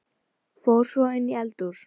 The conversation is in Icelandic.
Fór svo inn í eldhús.